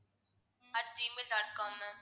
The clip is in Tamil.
at gmail dot com ma'am